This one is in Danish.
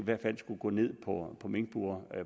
hvert fald skulle gå ned på minkbure